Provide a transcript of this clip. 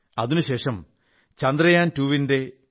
അതിനുശേഷം ചന്ദ്രയാൻ 2